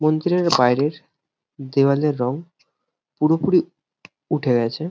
মন্দিরের বাইরের দেয়ালের রং পুরোপুরি উঠে গেছে।